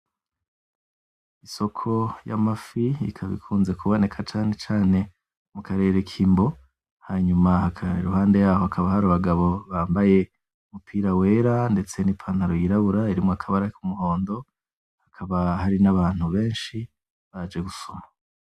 Isoko y'amafi ikaba ikunze kuboneka cane cane mu karere k'Imbo hanyuma iruhande yaho hakaba hari abagabo bambaye umupira wera ndetse n'ipantaro yirabura irimwo akabara k'umuhondo hakaba n'abantu benshi baje gusuma.